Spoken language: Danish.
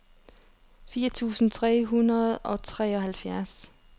fire tusind tre hundrede og treoghalvfjerds